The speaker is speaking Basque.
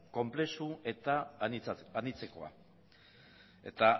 konplexu eta anitzekoa eta